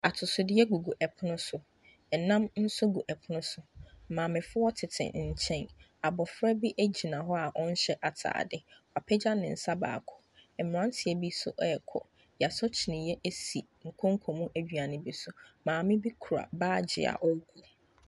Atosodeɛ gugu ɛpono so, ɛnam nso gu ɛpono so. Maamefoɔ tete nkyɛn. Abɔfra bi gyina hɔ a ɔnhyɛ atade. Wapagya ne nsa baako. Mmranteɛ bi nso rekɔ. Yɛasɔ kyinniiɛ si nkonku mu aduane bi so. Maame bi kura baage a ɔrekɔ.